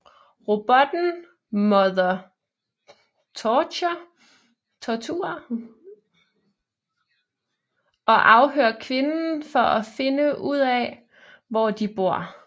Robotten mother torturerer og afhører kvinden for at finde ud af hvor de bor